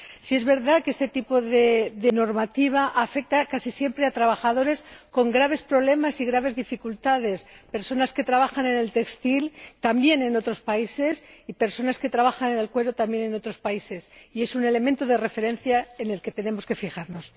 Sí es verdad que este tipo de normativa afecta casi siempre a trabajadores con graves problemas y graves dificultades personas que trabajan en el sector textil, también en otros países, y personas que trabajan en el cuero, también en otros países, y es un elemento de referencia en el que tenemos que fijarnos.